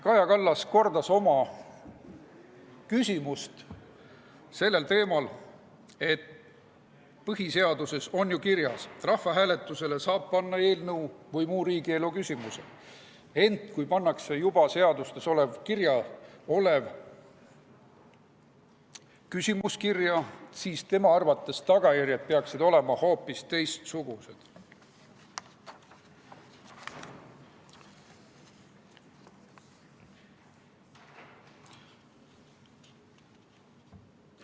Kaja Kallas kordas oma küsimust sellel teemal, et põhiseaduses on ju kirjas, et rahvahääletusele saab panna eelnõu või muu riigielu küsimuse, ent kui pannakse kirja juba seadustes olev küsimus, siis tema arvates peaksid tagajärjed olema hoopis teistsugused.